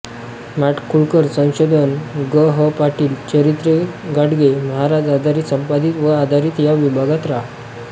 माडखोलकर संशोधन ग ह पाटील चरित्रे गाडगे महाराज आधारित संपादित व आधारित या विभागात रा